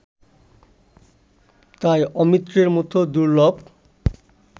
তাই অমৃতের মতো দুর্লভ